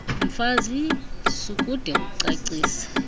mfazi sukude ucacise